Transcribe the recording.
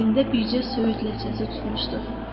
Əlində bircə söyüd ləçəsi tutmuşdu.